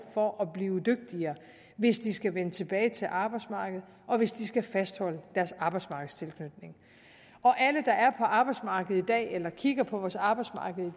for at blive dygtigere hvis de skal vende tilbage til arbejdsmarkedet og hvis de skal fastholde deres arbejdsmarkedstilknytning og alle der er på arbejdsmarkedet i dag eller kigger på vores arbejdsmarked